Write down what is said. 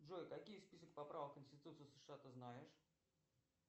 джой какие список поправок в конституцию сша ты знаешь